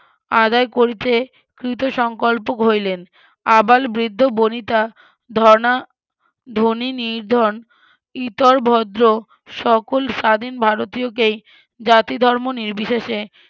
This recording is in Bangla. আদায় করিতে কৃত সংকল্পক হইলেন আবাল বৃদ্ধ বনিতা ধর্না ধনি নির্ধন ইতর ভদ্র সকল স্বাধীন ভারতীয়কে জাতি ধর্ম নির্বিশেষে